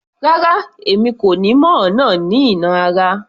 Rárá! Èmi kò ni mo nà á ní ìnà ara